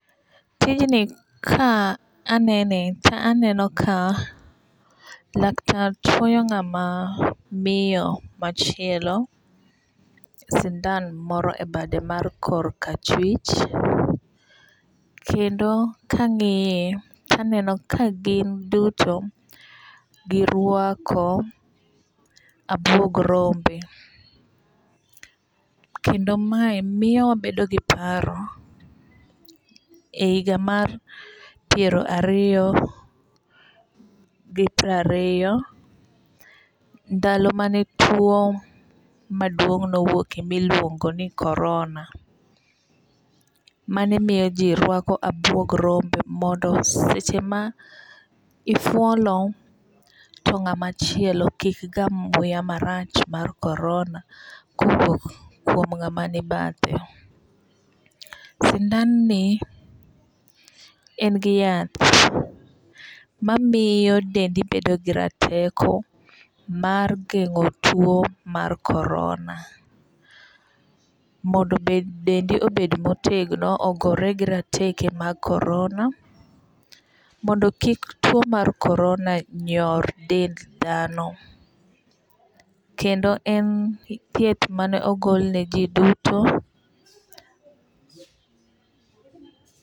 Tijni ka anene to aneno ka laktar chwoyo ng'ama miyo machielo sindan moro e bade mar kor ka chwich. Kendo kang'iye to aneno ka gin duto girwako abuog rombe. Kendo mae miyo wabedo gi paro e higa mar piero ariyo gi prariyo ndalo mane tuo maduong' nowuoke miluongo ni corona mane miyoo ji rwako abwog rombe mondo seche ma ifuolo to ng'ama chielo kik gam muya marach mar corona kowuok kuom ng'ama ni bathe. Sindan ni en gi yath mamiyo dendi bedo gi rateko mar geng'o tuo mar corona. Mondo dendi obed motegno ogore gi rateke mag corona mondo kik tuo mar corona nyor dend dhano. Kendo en thieth mane ogol ne ji duto